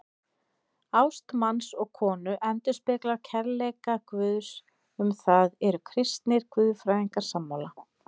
Ást manns og konu endurspeglar kærleika Guðs, um það eru kristnir guðfræðingar sammála.